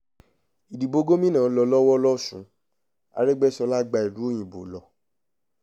ìdìbò gómìnà ń lọ lọ́wọ́ losùn aregbèsọlá gba ìlú òyìnbó lọ